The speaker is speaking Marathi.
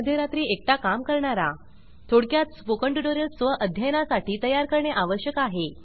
मध्यरात्री एकटा काम करणारा थोडक्यात स्पोकन ट्युटोरियल्स स्व अध्ययनासाठी तयार करणे आवश्यक आहे